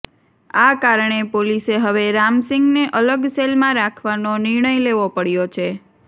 આ કારણે પોલીસે હવે રામસિંગને અલગ સેલમાં રાખવાનો નિર્ણય લેવો પડ્યો છે